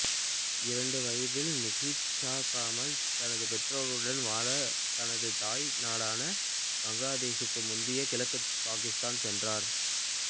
இரண்டு வயதில் நஷீத் கமல் தனது பெற்றோருடன் வாழ தனது தாய் நாடான பங்களாதேஷுக்குச் முந்தைய கிழக்கு பாகிஸ்தான் சென்றார்